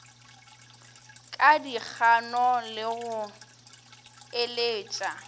ka dikgano le go eletša